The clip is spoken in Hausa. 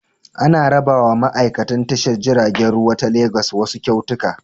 An rabawa ma'aikan tashar jiragen ruwa ta Legas wasu kyautuka.